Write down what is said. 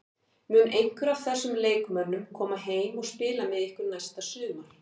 Mun einhver af þessum leikmönnum koma heim og spila með ykkur næsta sumar?